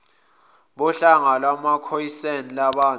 bohlanga lwamakhoisan lababantu